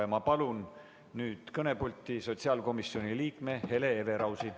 Ma palun kõnepulti sotsiaalkomisjoni liikme Hele Everausi.